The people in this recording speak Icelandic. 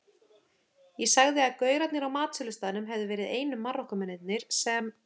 Ég sagði að gaurarnir á matsölustaðnum hefðu verið einu Marokkómennirnir sem